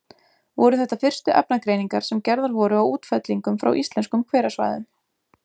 Voru þetta fyrstu efnagreiningar sem gerðar voru á útfellingum frá íslenskum hverasvæðum.